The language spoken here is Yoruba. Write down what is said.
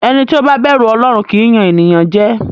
Ẹni tí ó bá bẹ̀rù Ọlọ́run kì í yàn ènìyàn jẹ.